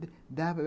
Dá ...